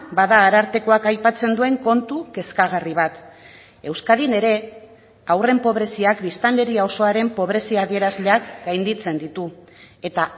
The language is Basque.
bada arartekoak aipatzen duen kontu kezkagarri bat euskadin ere haurren pobreziak biztanleria osoaren pobrezia adierazleak gainditzen ditu eta